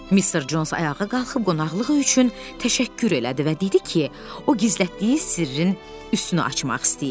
Mister Cons ayağa qalxıb qonaqlığı üçün təşəkkür elədi və dedi ki, o gizlətdiyi sirrin üstünü açmaq istəyir.